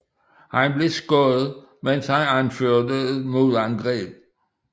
Han blev skudt mens han anførte et modangreb